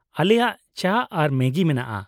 ᱟᱞᱮᱭᱟᱜ ᱪᱟ ᱟᱨ ᱢᱮᱜᱤ ᱢᱮᱱᱟᱜᱼᱟ ᱾